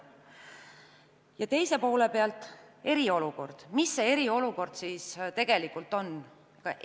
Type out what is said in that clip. Ja teise poole pealt eriolukord – mis see eriolukord siis tegelikult on?